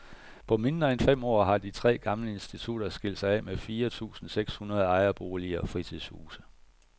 På mindre end fem år har de tre gamle institutter skilt sig af med fire tusinde seks hundrede ejerboliger og fritidshuse.